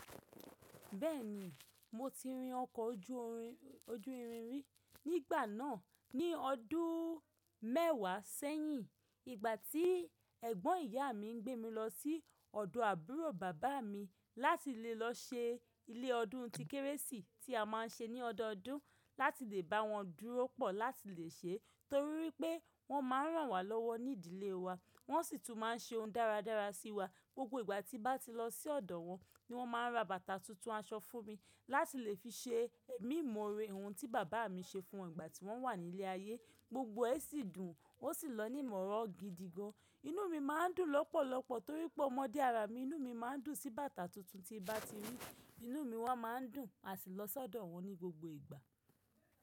Bẹ́ẹ̀ni, mo ti rin ọkọ̀ oju ori- ojú irin rí nígbà náà ní ọdún mẹ́wàá sẹ́yìn, ìgbà tí ẹ̀gbọ́n ìyá mi gbé mi lọ sí ọ̀dọ̀ àbúrò bàbá mi láti lè lọ ṣe ilé ọdún ti kérésì tí a má ń ṣe ní ọdọọdún láti lè bá wọn dúró pọ̀ láti lè ṣe, torí wipé wọ́n má a rán wa lọ́wọ́ ní ìdílé wa, wọ́n sì tún má a ń ṣe ohun dáradára sí wa. Gbogbo ìgbà tí bá ti lọ sí ọ̀dọ̀ wọn ni wọ́n má a ń ra bàtà tuntun aṣọ fún mi láti lè fi ṣe ẹ̀mí ìmoore, ohun tí bàbá mi ṣe fún wọn ìgbà tí wọ́n wà ní ilé ayé. Gbogbo ẹ sì dùn, ó sì lọ ní ìworo gidi gan. Inú mi má a ń dùn lọ́pọ̀lọpọ̀ torí pé ọmọdé arà mi inú mi má a ń dùn sí bàtà tuntun tí bá ti rí, inú mi wá má a ń dùn a tì lọ sọ́dọ̀ wọn ní gbogbo ìgbà.